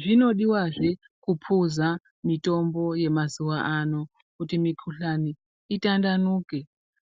Zvinodiwazve kuphuza mitombo yemazuwa ano kuti mukhuhlani itandanuke